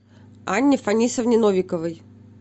анне фанисовне новиковой